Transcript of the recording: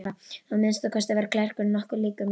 Að minnsta kosti var klerkurinn nokkuð líkur mér.